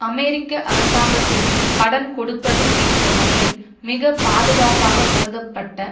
அமெரிக்க அரசாங்கத்திற்கு கடன் கொடுப்பது என்ற வகையில் மிக பாதுகாப்பாக கருதப்பட்ட